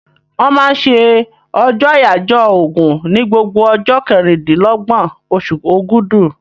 Wọ́n máa ń se ọjọ́ àyáyọ́ ògùn ní gbogbo ọjọ́ kẹrìndínlọ́gbọ̀n osù ògudù